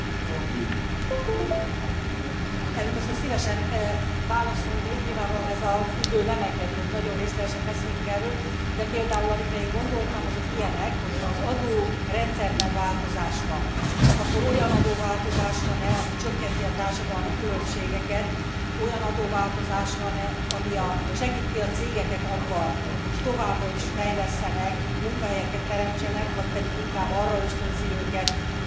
Elnök asszony, szívesen válaszolnék, nyilvánvalóan ez az idő nem engedi, hogy nagyon részletesen beszéljünk erről, de például, amikre én gondoltam, azok ilyenek, hogyha az adórendszerben változás van, akkor olyan adóváltozás van e, ami csökkenti a társadalmi különbségeket, olyan adóváltozás van e, ami segíti a cégeket abban, hogy továbbra is fejlesszenek, munkahelyeket teremtsenek, vagy pedig inkább arra ösztönzi őket, hogy visszafogják ezeket a munkahely teremtési